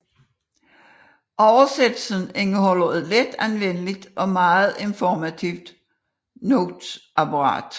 Oversættelsen indeholder et let anvendeligt og meget informativt noteapparat